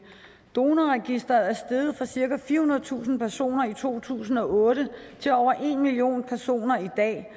i donorregistret er steget fra cirka firehundredetusind personer i to tusind og otte til over en million personer i dag